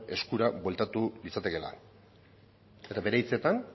eskura bueltatu litzatekeela bere hitzetan